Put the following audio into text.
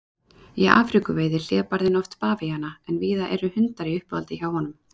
Í Afríku veiðir hlébarðinn oft bavíana en víða eru hundar í uppáhaldi hjá honum.